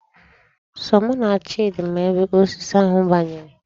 Sọ mụ na Chidi ma ebe osisi ahụ banyere.